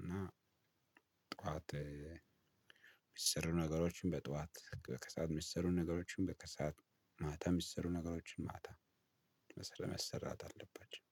እና ጠዋት የሚሰሩ ነገሮችን በጠዋት ከሰአት የሚሰሩ ነገሮችን በከሰአት ማታ የሚሰሩ ነገሮችን ማታ መሰራት አለባቸው።